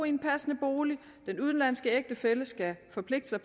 i en passende bolig den udenlandske ægtefælle skal forpligte sig